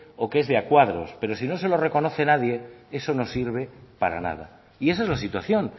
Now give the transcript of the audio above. o que es de a cuadros pero si no se lo reconoce nadie eso no sirve para nada y esa es la situación